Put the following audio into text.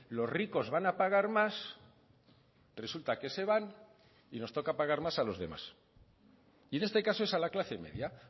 los ricos van a pagar más resulta que se van y nos toca pagar más a los demás y en este caso es a la clase media